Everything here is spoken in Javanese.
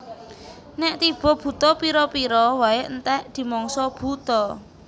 Nèk tiba Buta pira pira waé entèk dimangsa buta